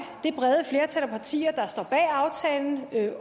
det brede flertal af partier der står bag aftalen